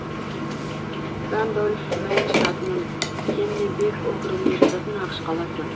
рандольф мэн штатының кеннебек округіне жататын ақш қаласы